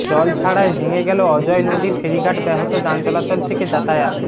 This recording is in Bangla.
জল ছাড়ায় ভেঙেগেল অজয় নদীর ফেরিঘাট ব্যাহত যানচলাচল থেকে যাতায়াত